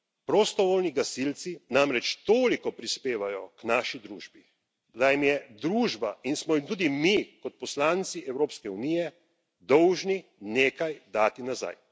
Prostovoljni gasilci namreč toliko prispevajo k naši družbi, da jim je družba in smo jim tudi mi kot poslanci Evropske unije dolžni nekaj dati nazaj.